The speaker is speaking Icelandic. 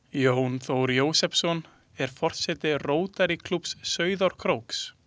Jón Þór Jósepsson, er forseti Rótarýklúbbs Sauðárkróks.